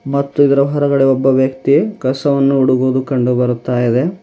ಮತ್ತು ಇದರ ಹೊರಗಡೆ ಒಬ್ಬ ವ್ಯಕ್ತಿ ಕಸವನ್ನು ಹುಡುಗುವುದು ಕಂಡುಬರುತ್ತಾಯಿದೆ.